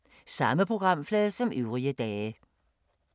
Samme programflade som øvrige dage